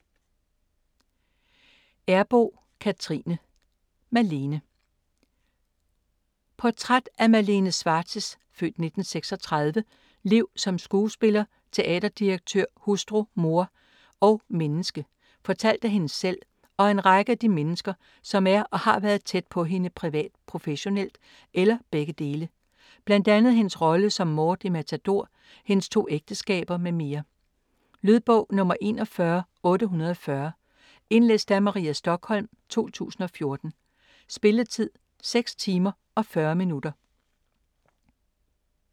Errboe, Cathrine: Malene Portræt af Malene Schwartz' (f. 1936) liv som skuespiller, teaterdirektør, hustru, mor og menneske - fortalt af hende selv og af en række af de mennesker, som er og har været tæt på hende privat, professionelt eller begge dele. Bl.a. hendes rolle som Maude i Matador, hendes 2 ægteskaber m.m. Lydbog 41840 Indlæst af Maria Stokholm, 2014. Spilletid: 6 timer, 40 minutter.